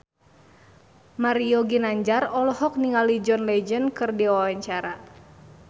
Mario Ginanjar olohok ningali John Legend keur diwawancara